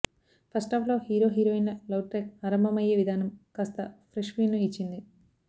ఫస్టాఫ్లో hero heroine ల love track ఆరంభమయ్యే విధానం కాస్త ఫ్రెష్ ఫీల్ ను ఇచ్చింది